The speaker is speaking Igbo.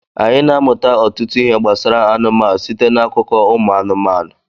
anyị na-amụta ọtụtụ ihe gbasara anụmanụ site n'akụkọ ụmụ anụmanụ